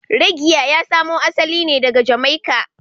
Reggae ya samo asali ne daga Jamaica